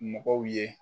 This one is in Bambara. Mɔgɔw ye